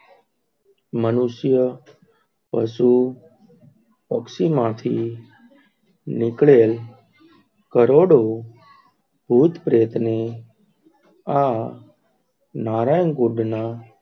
મનુષ્ય પશુ પક્ષી માંથી નીકળે કરોડો ભૂત પ્રેત ની આ નારાયણ કૂટના,